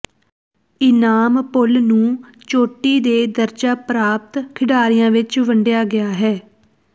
ਇਨਾਮ ਪੂਲ ਨੂੰ ਚੋਟੀ ਦੇ ਦਰਜਾ ਪ੍ਰਾਪਤ ਖਿਡਾਰੀਆਂ ਵਿੱਚ ਵੰਡਿਆ ਗਿਆ ਹੈ